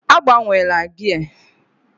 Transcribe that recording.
Agbanwela gia!